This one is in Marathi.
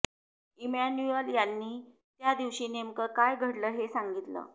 इमॅन्युअल यांनी त्या दिवशी नेमकं काय घडलं हे सांगितलं